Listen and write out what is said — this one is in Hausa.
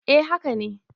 eh haka ne